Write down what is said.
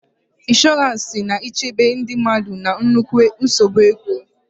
Ịnshọransị na-echebe ndị mmadụ na nnukwu nsogbu ego.